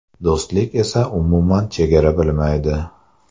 Do‘stlik esa umuman chegara bilmaydi!